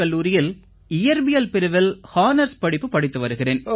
கல்லூரியில் இயற்பியல் பிரிவில் ஹானர்ஸ் படிப்பு படித்து வருகிறேன்